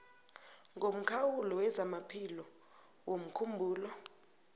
ngomkhawulo wezamaphilo womkhumbulo